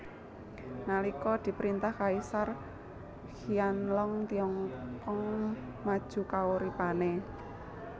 Nalika diprintah Kaisar Qianlong Tiongkong maju kauripane